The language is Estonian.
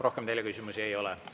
Rohkem teile küsimusi ei ole.